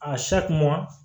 A